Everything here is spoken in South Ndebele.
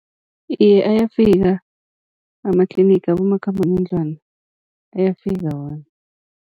Iye, ayafika amatlinigi abomakhambangendlwana ayafika wona.